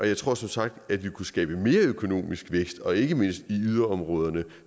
jeg tror som sagt at vi kunne skabe mere økonomisk vækst og ikke mindst i yderområderne